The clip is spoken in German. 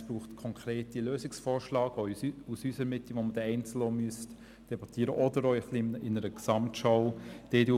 Aber ich denke, es braucht konkrete Lösungsvorschläge aus unserer Mitte, die man dann auch einzeln oder in einer Gesamtschau debattieren müsste.